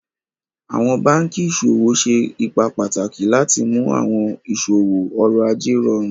Awọn bankí iṣọwọ ṣé ípà pátàkì láti mú awọn iṣọwọ ọ̀rọ̀-àjẹ̀ rọ̀rùn